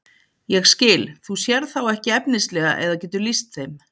Ég skil, þú sérð þá ekki efnislega eða getur lýst þeim?